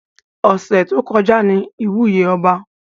Ọ̀sẹ̀ tó kọjá ní ìwúyè ọba